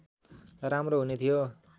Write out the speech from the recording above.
राम्रो हुने थियो